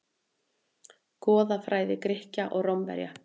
Goðafræði Grikkja og Rómverja.